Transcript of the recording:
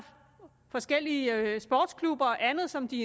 forskellige sportsklubber og andet som de